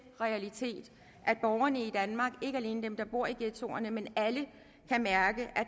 realiteter at borgerne i danmark ikke alene dem der bor i ghettoerne men alle kan mærke at